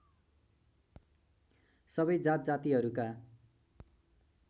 सबै जात जातिहरूका